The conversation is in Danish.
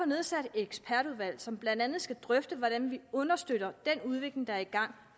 nedsat et ekspertudvalg som blandt andet skal drøfte hvordan vi understøtter den udvikling der er i gang